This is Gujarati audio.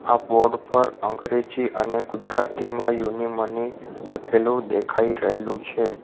આ પર અંગ્રેજી અને ગુજરાતીમાં લખેલુ દેખાઈ રહેલુ છે.